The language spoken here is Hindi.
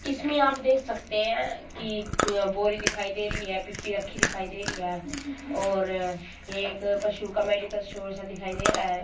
इसमें आप देख सकते हैं कि अह बोरी दिखाई दे रही है पीपी रखी दिखाई दे रही है और एक पशु का मेडिकल स्टोर सा दिखाई दे रहा है।